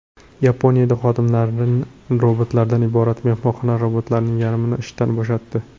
Yaponiyada xodimlari robotlardan iborat mehmonxona robotlarning yarmini ishdan bo‘shatdi.